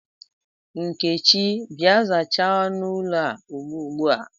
Nkechi, Bịa, zachaa ọnụ ụlọ a ubua ubua!